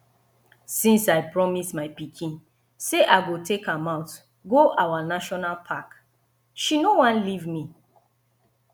since i promise my pikin say i go take am out go our national park she no wan leave me